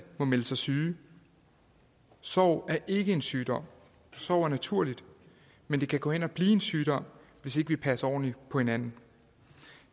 må melde sig syge sorg er ikke en sygdom sorg er naturligt men det kan gå hen og blive en sygdom hvis ikke vi passer ordentligt på hinanden